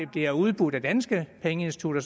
bliver udbudt af danske pengeinstitutter